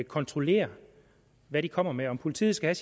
kontrollere hvad de kommer med om politiet skal